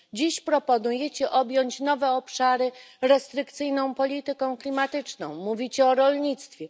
Dziś proponujecie objąć nowe obszary restrykcyjną polityką klimatyczną. Mówicie o rolnictwie.